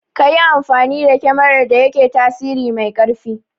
Kayi amfani da kemarar da yake tasiri mai ƙarfi